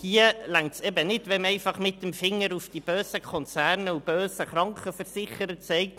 Hier reicht es eben nicht, wenn man einfach mit dem Finger auf die bösen Konzerne und die bösen Krankenversicherer zeigt.